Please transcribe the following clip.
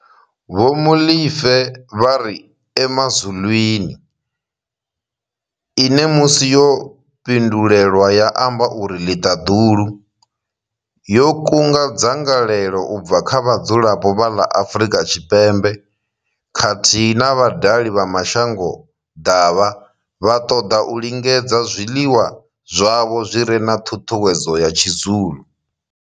Vho Molefe vha ri Emazulwini, ine musi yo pindulelwa ya amba uri ḽiṱadulu, yo kunga dzangalelo u bva kha vhadzulapo vha ḽa Afrika Tshipembe khathihi na vhadali vha mashangoḓavha vha ṱoḓa u lingedza zwiḽiwa zwavho zwi re na ṱhuṱhuwedzo ya tshi Zulu.